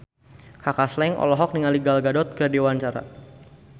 Kaka Slank olohok ningali Gal Gadot keur diwawancara